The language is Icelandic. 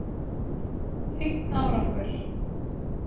Fínn árangur!